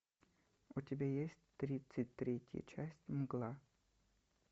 у тебя есть тридцать третья часть мгла